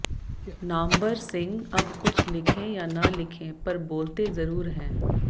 नामबर सिंह अब कुछ लिखें या न लिखें पर बोलते ज़रूर हैं